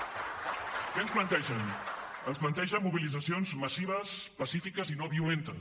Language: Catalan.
què ens plantegen ens plantegen mobilitzacions massives pacífiques i no violentes